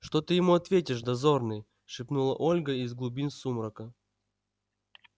что ты ему ответишь дозорный шепнула ольга из глубин сумрака